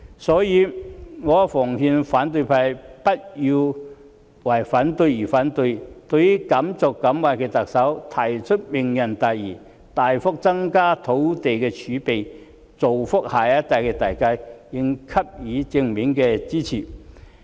所以，我奉勸反對派不要為反對而反對，對於敢作敢為的特首提出"明日大嶼"，大幅增加土地儲備，造福下一代的大計，應給予正面的支持。